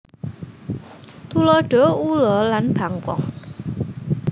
Tuladha ula lan bangkong